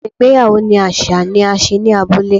Awọn igbeyawo ni aṣa ni a ṣe ni abule